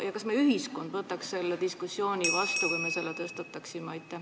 Ja kas meie ühiskond võtaks selle diskussiooni vastu, kui me selle tõstataksime?